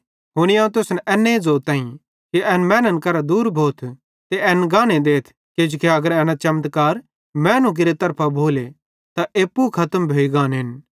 हुनी अवं तुसन एन्ने ज़ोताईं कि एन मैनन् करां दूर भोथ ते एन गाने देथ किजोकि अगर एना चमत्कार मैनू केरि तरफां भोले त एप्पू खतम भोइ गानेन